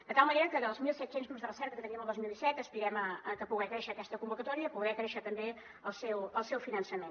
de tal manera que dels mil set cents grups de recerca que teníem el dos mil disset aspirem a poder créixer en aquesta convocatòria i a poder créixer també en el seu finançament